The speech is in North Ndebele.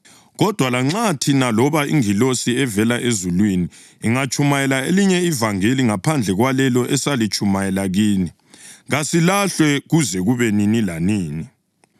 Kodwa lanxa thina loba ingilosi evela ezulwini ingatshumayela elinye ivangeli ngaphandle kwalelo esalitshumayela kini, kasilahlwe kuze kube nini lanini!